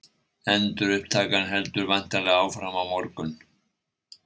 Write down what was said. Endurupptakan heldur væntanlega áfram á morgun?